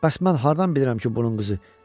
"Bəs mən hardan bilirəm ki, bunun qızı?